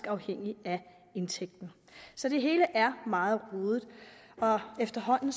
afhængigt af indtægten så det hele er meget rodet og efterhånden